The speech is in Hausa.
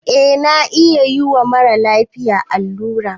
Eh na iya yiwa mara lafiya allura